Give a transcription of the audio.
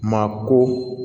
Maa ko